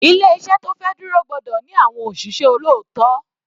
Ilé iṣẹ́ tó fẹ́ dúró gbọ́dọ̀ ní àwọn òṣìṣẹ́ olóòótọ́.